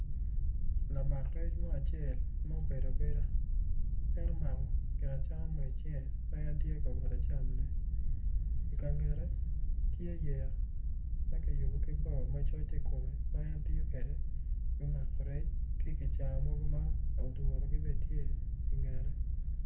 Lamak rec mo acel mubedo abeda latin awobi, awobi eni kono tye ma oruko long ma bule en kono tye ma oruko gin blue i cinge en kono tye ka dongo mako rec ki kicaya ma kiduro i ngete.